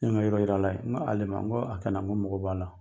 Ne ye n ka yɔrɔ yira a la, n ko ale ma n ko a kɛ n ko mɔgɔ b'a la.